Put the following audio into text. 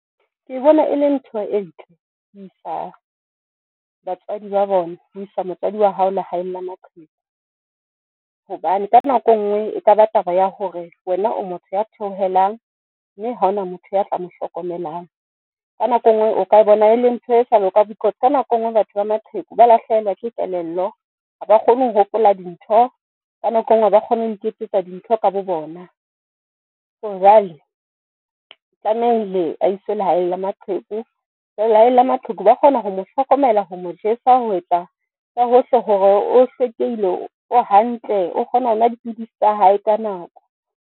Ke bona e le ntho e ntle ho isa batswadi ba bona. Ho isa motswadi wa hao lehaeng la maqheku hobane ka nako e nngwe e kaba taba ya hore wena o motho ya theohelang, mme ha hona motho ya tla mo hlokomelang. Ka nako e nngwe o ka e bona e leng ntho e sa loka, because, ka nako e nngwe batho ba maqheku ba lahlehelwa ke kelello haba kgone ho hopola dintho. Ka nako e nngwe haba kgone ho iketsetsa dintho ka bo bona. So, jwale tlamehile a iswe lehaeng la maqheku lehaeng la maqheku ba kgona ho mo hlokomela ho mo jesa, ho etsa ka hohle hore o hlwekile, o hantle, o kgona ho nwa dipidisi tsa hae ka nako.